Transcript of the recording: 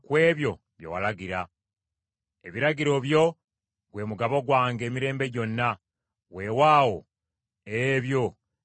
Ebiragiro byo gwe mugabo gwange emirembe gyonna; weewaawo, ebyo bye bisanyusa omutima gwange.